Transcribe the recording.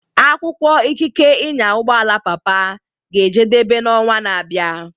Akwụkwọ ikike ịnya ụgbọ ala papa ga-ejedebe n'ọnwa na-abịa.